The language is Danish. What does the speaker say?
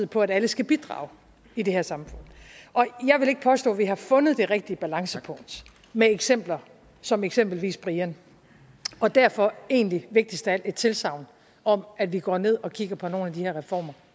på at alle skal bidrage i det her samfund jeg vil ikke påstå at vi har fundet det rigtige balancepunkt med eksempler som eksempelvis brian og derfor egentlig vigtigst af alt et tilsagn om at vi går ned og kigger på nogle af de her reformer